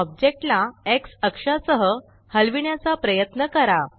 आता ओब्जेक्टला Xअक्षा सह हलविण्याचा प्रयत्न करा